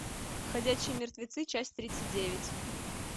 ходячие мертвецы часть тридцать девять